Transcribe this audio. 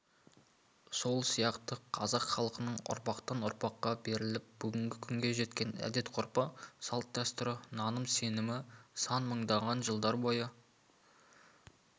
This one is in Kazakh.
сол сияқты қазақ халқының ұрпақтан-ұрпаққа беріліп бүгінгі күнге жеткен әдет-ғұрпы салт-дәстүрі наным-сенімі сан мыңдаған жылдар бойы